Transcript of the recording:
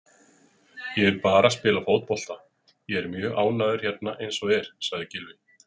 Ég vil bara spila fótbolta, ég er mjög ánægður hérna eins og er, sagði Gylfi.